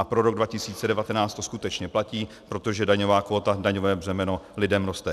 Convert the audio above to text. A pro rok 2019 to skutečně platí, protože daňová kvóta, daňové břemeno lidem roste.